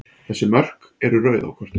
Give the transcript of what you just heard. Þessi mörk eru rauð á kortinu.